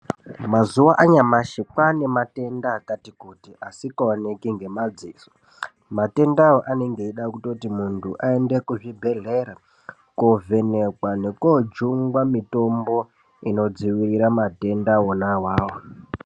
Mazuwa anyamashi kwane matenda akati kuti asikaoneki ngemaziso matendawo anenge eida kuti muntu aende kuzvibhehlera kovhenekwa nekojungwa mitombo inodzivirira matenda ona awawo.